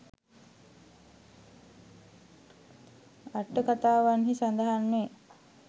අට්ඨකථාවන්හි සඳහන් වේ.